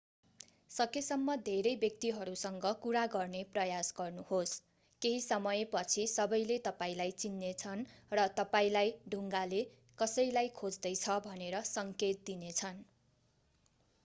सकेसम्म धेरै व्यक्तिहरूसँग कुरा गर्ने प्रयास गर्नुहोस् केही समयपछि सबैले तपाईंलाई चिन्नेछन् र तपाईंलाई डुङ्गाले कसैलाई खोज्दैछ भनेर सङ्केत दिनेछन्